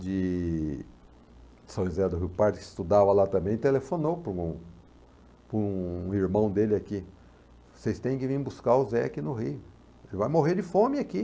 de São José do Rio Parto, que estudava lá também, telefonou para um para um irmão dele aqui, vocês têm que vir buscar o Zé aqui no Rio, ele vai morrer de fome aqui.